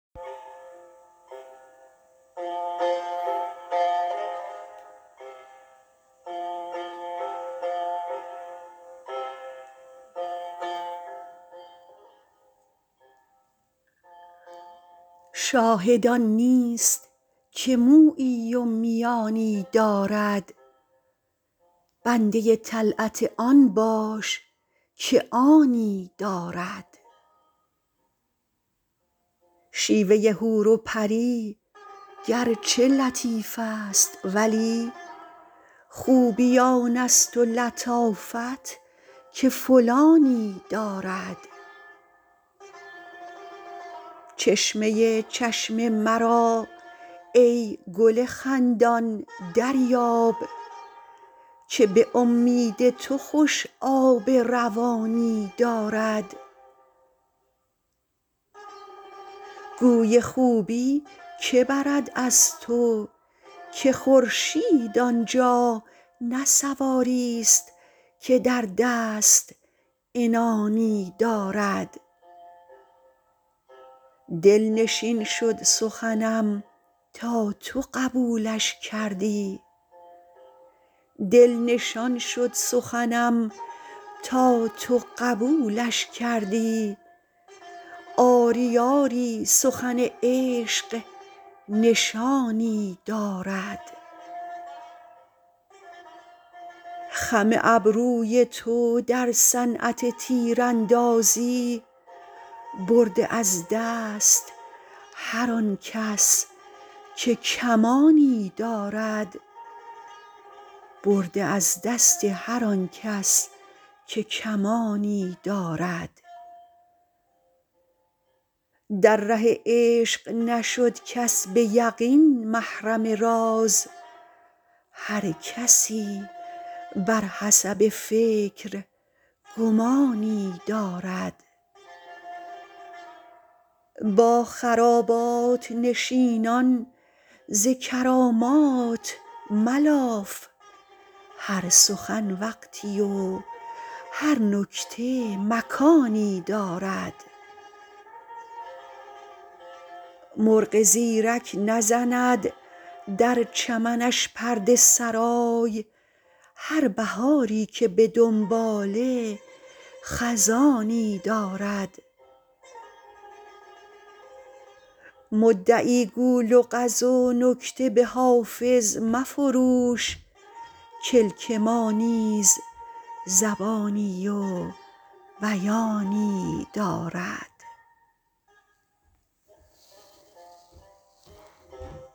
شاهد آن نیست که مویی و میانی دارد بنده طلعت آن باش که آنی دارد شیوه حور و پری گرچه لطیف است ولی خوبی آن است و لطافت که فلانی دارد چشمه چشم مرا ای گل خندان دریاب که به امید تو خوش آب روانی دارد گوی خوبی که برد از تو که خورشید آن جا نه سواریست که در دست عنانی دارد دل نشان شد سخنم تا تو قبولش کردی آری آری سخن عشق نشانی دارد خم ابروی تو در صنعت تیراندازی برده از دست هر آن کس که کمانی دارد در ره عشق نشد کس به یقین محرم راز هر کسی بر حسب فکر گمانی دارد با خرابات نشینان ز کرامات ملاف هر سخن وقتی و هر نکته مکانی دارد مرغ زیرک نزند در چمنش پرده سرای هر بهاری که به دنباله خزانی دارد مدعی گو لغز و نکته به حافظ مفروش کلک ما نیز زبانی و بیانی دارد